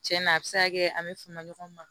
Cɛn na a bɛ se ka kɛ an bɛ fama ɲɔgɔn ma